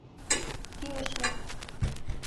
кинешме